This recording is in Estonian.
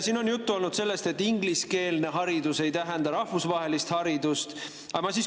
Siin on juttu olnud sellest, et ingliskeelne haridus ei tähenda rahvusvahelist haridust.